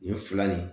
Nin fila nin